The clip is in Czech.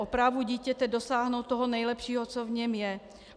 O právu dítěte dosáhnout toho nejlepšího, co v něm je.